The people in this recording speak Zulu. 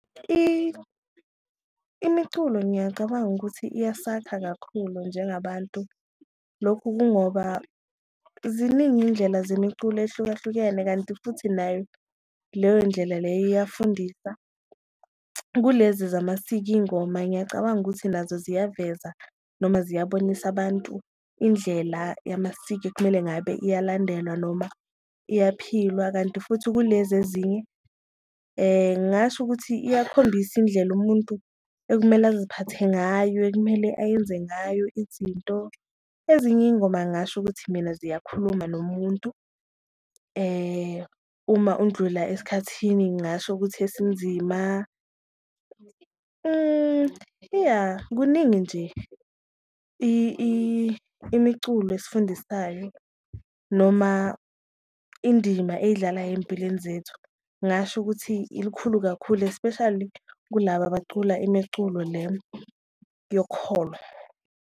Imiculo ngiyacabanga ukuthi iyasakha kakhulu njengabantu lokhu kungoba ziningi indlela zemiculo ehlukahlukene kanti futhi nayo leyo ndlela leyo iyafundisa, kulezi zamasiko iyingoma ngiyacabanga ukuthi nazo ziyaveza noma ziyabonisa abantu indlela yamasiko ekumele ngabe iyalandelwa noma iyaphilwa. Kanti futhi kulezi ezinye ngasho ukuthi iyakhombisa indlela umuntu ekumele aziphathe ngayo, ekumele ayenze ngayo izinto, ezinye iyingoma ngasho ukuthi mina ziyakhuluma nomuntu. Uma undlula esikhathini ngasho ukuthi esinzima iya kuningi nje imiculo esifundisayo noma indima eyidlalayo eyimpilweni zethu, ngasho ukuthi ilikhulu kakhulu, especially kulaba bacula imiculo le yokholo.